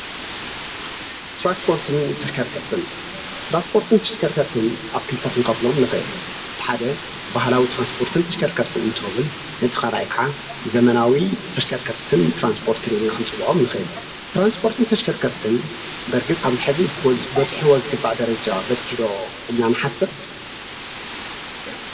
ትራንስፖርትን ተሽከርክርትን፡- ተራንስፖርትን ትሸከርከርትን ኣብ ክልተ ኽንከሎም ንኺእል። እቲ ሓደ ባህላዊ ተራንስፖርትን ተሸከርከርትን እንትከውን እቲ ካልኣይ ከዓ ዘመናዊ ተሽከርከርትን ጥራንስፖርት ኢልና ክንፅወዖም ንክእል ኢና። ትራንስፖርትን ተሽከርከርትን ኣብዚ ሰዓት እዚ በርግፅ ኣብ ፅቡቅ በፂሑ ዶ ኢልና ክንሓስብ ንክእል?